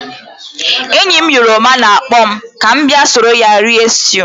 Enyi m yoruba na-akpọ m ka m bia soro ya rie stew.